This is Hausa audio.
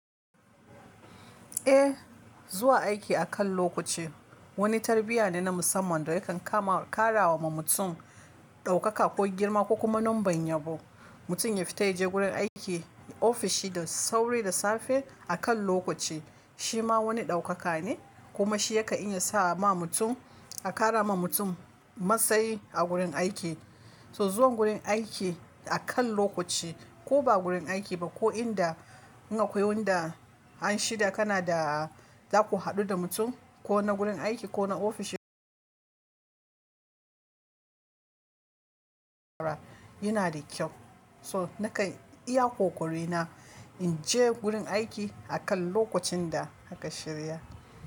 Eh, zuwa aiki akan lokaci wani tarbiyya ne na musamman da yakan kama kara wa mutum ɗaukaka ko girma ko kuma numban yabo. Mutum ya fita ya je gurin aiki, ofishi da sauri da safe akan lokaci shima wani ɗaukaka ne kuma shi ya kan iya sa ma mutum a kara ma mutum matsayi a gurin aiki. So zuwan gurin aiki akan lokaci ko ba gurin aiki ba, ko inda in akwai wanda an shida kana da za ku haɗu da mutum ko na gurin aiki ko na ofishi yana da kyau. So nakan iya ƙoƙari na in je gurin aiki akan lokacin da aka shirya.